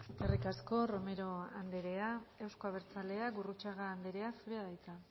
eskerrik asko romero andrea euzko abertzaleak gurrutxaga andrea zurea da hitza